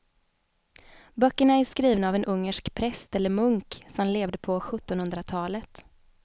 Böckerna är skrivna av en ungersk präst eller munk som levde på sjuttonhundratalet.